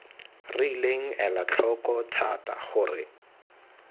rileng ela tlhoko thata gore